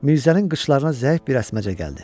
Mirzənin qışlarına zəif bir əsməcə gəldi.